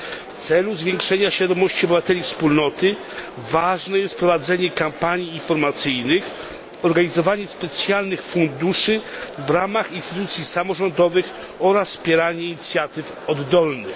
W celu zwiększenia świadomości obywateli Wspólnoty ważne jest prowadzenie kampanii informacyjnych, organizowanie specjalnych funduszy w ramach instytucji samorządowych oraz wspieranie inicjatyw oddolnych.